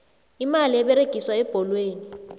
imali eberegiswa ebholweni